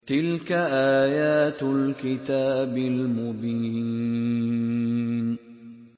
تِلْكَ آيَاتُ الْكِتَابِ الْمُبِينِ